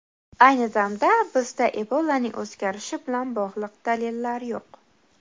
Ayni damda bizda Ebolaning o‘zgarishi bilan bog‘liq dalillar yo‘q.